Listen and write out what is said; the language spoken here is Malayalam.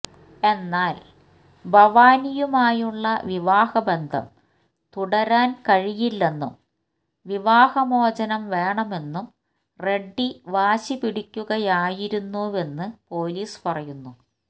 എന്നാല് ഭവാനിയുമായുള്ള വിവാഹ ബന്ധം തുടരാന് കഴിയില്ലെന്നും വിവാഹമോചനം വേണമെന്നും റെഡ്ഡി വാശിപിടിക്കുകയായിരുന്നുവെന്ന് പോലീസ് പറയുന്നു